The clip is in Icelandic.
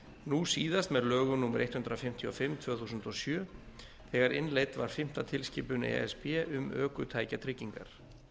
nú síðast með lögum númer hundrað fimmtíu og fimm tvö þúsund og sjö þegar innleidd var fimmta tilskipun e s b um ökutækjatryggingar